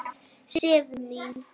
Sif mín!